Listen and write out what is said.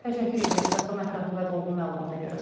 Təşəkkür edirik Qasım, ətraflı və dolğun məlumata görə.